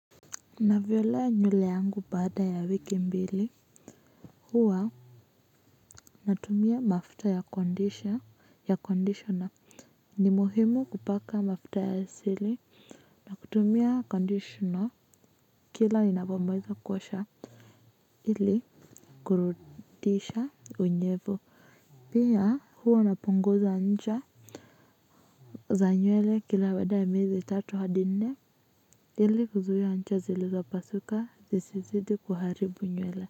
Navyolea nywele yangu baada ya wiki mbili huwa natumia mafuta ya kondisha ya conditioner ni muhimu kupaka mafuta ya asili kutumia conditioner kila ninapomaliza kuosha ili kurudisha unyevu pia huwa napunguza ncha za nywele kila baada ya miezi mitatu hadi minne ili kuzuia ncha zilizo pasuka zisizidi kuharibu nywele.